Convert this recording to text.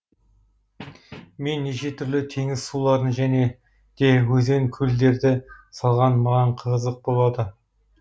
мен неше түрлі теңіз суларын және де өзен көлдерді салған маған қызық болады